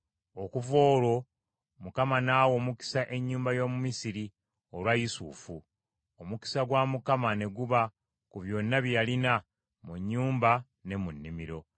Okuva olwo Mukama n’awa omukisa ennyumba y’Omumisiri olwa Yusufu. Omukisa gwa Mukama ne guba ku byonna bye yalina, mu nnyumba ne mu nnimiro.